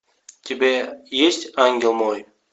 у тебя есть ангел мой